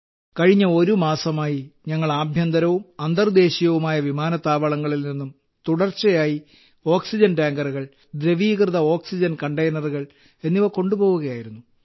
group captain കഴിഞ്ഞ ഒരുമാസമായി ഞങ്ങൾ ആഭ്യന്തരവും അന്തർദേശീയവുമായ വിമാനത്താവളങ്ങളിൽ നിന്നും തുടർച്ചയായി ഓക്സിജൻ ടാങ്കറുകൾ ദ്രവീകൃത ഓക്സിജൻ കണ്ടെയ്നറുകൾ എന്നിവ കൊണ്ടുപോവുകയായിരുന്നു